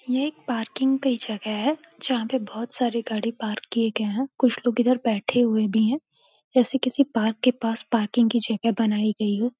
ये एक पार्किंग की जगह है जहाँ पे (पर) बहुत सारी गाड़ी पार्क किए गये हैं। कुछ लोग इधर बैठे हुए भी है जैसे किसी पार्क के पास पार्किंग की जगह बनाई गयी हो।